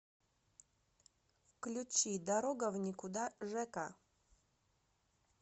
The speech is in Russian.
включи дорога в никуда жека